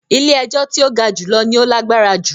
“ilé-ẹjọ́ tí ó ga jùlọ " ni ó lágbára jù.